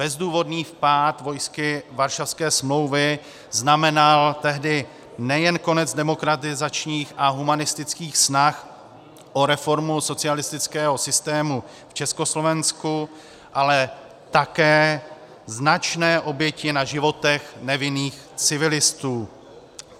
Bezdůvodný vpád vojsk Varšavské smlouvy znamenal tehdy nejen konec demokratizačních a humanistických snah o reformu socialistického systému v Československu, ale také značné oběti na životech nevinných civilistů.